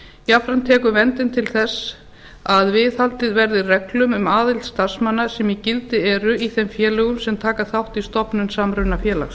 jafnframt tekur verndin til þess að viðhaldið verði reglum um aðild starfsmanna sem í gildi eru í þeim félögum sem taka þátt í stofnun samrunafélags